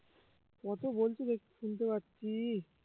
কত বলছি দেখ শুনতে পাচ্ছি